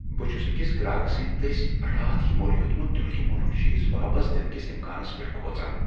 بہٕ چھٗس اكِس گراكہٕ سندِ دسۍ راتھٕیہ مٔلۍ ہیوتمٗت دروگہِ مۄلک چیز واپس دِنہٕ كِس امكانس پیٹھ کھوژان ۔